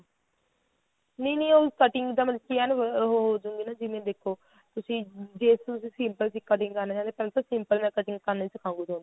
ਨਹੀਂ ਨਹੀਂ ਉਹ cutting ਤਾਂ ਮਤਲਬ ਕੀ ਏਨ ਉਹ ਜਿਵੇਂ ਦੇਖੋ ਤੁਸੀਂ ਜੇ ਤੁਸੀਂ simple ਸੂਟਾਂ ਦੀ cutting ਕਰ ਲੇਂਦੇ ਏ ਪਹਿਲਾਂ ਤਾਂ simple ਮੈਂ cutting ਕਰਨੀ ਸਿਖਾਉਂਗੀ ਤੁਹਾਨੂੰ